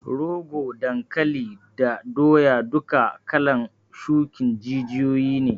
Rogo, dankali da doya duka kalan shukin jijiyoyi ne